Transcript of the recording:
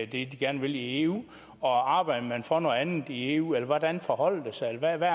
det de gerne vil i eu og arbejder for noget andet i eu eller hvordan forholder det sig hvad er det